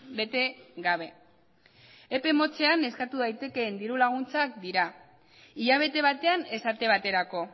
bete gabe epe motzean eskatu daitekeen diru laguntzak dira hilabete batean esate baterako